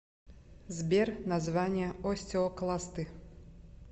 сбер название остеокласты